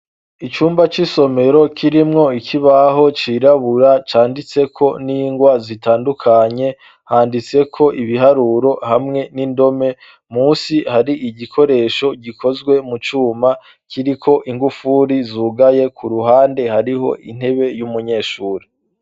Icumba c'isomero kirimwo ikibaho cirabura canditseko n'ingwa zitandukanye handitse ko ibiharuro hamwe n'indome musi hari igikoresho gikozwe mu cuma kiri ko ingufuri zugaye ku ruhande hariho intebe y'umunyeshuri.